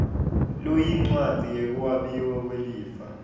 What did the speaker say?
loyincwadzi yekwabiwa kwelifa